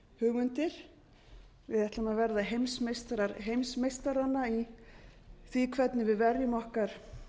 hugmyndir við ætlum að verða heimsmeistarar heimsmeistaranna í því hvernig við verjum okkar